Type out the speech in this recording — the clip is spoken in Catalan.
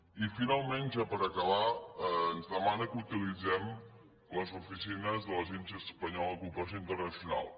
i finalment ja per acabar ens demana que utilitzem les oficines de l’agència espanyola de cooperació internacional